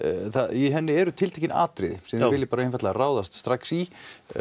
í henni eru tiltekin atriði sem þið viljið bara ráðast strax í